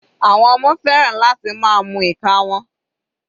Àwọn ọmọ fẹ́ràn láti máa mu ìka wọn.